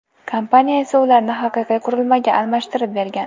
Kompaniya esa ularni haqiqiy qurilmaga almashtirib bergan.